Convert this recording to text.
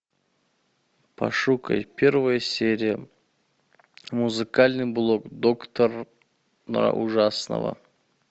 пошукай первая серия музыкальный блог доктора ужасного